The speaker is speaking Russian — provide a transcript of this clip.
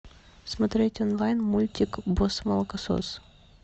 смотреть онлайн мультик босс молокосос